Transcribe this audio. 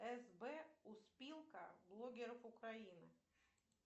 сб успилка блогеров украины